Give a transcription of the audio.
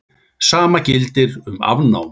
Sama gildir um afnámu.